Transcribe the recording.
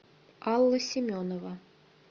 алла семенова